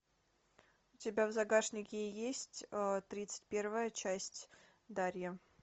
у тебя в загашнике есть тридцать первая часть дарья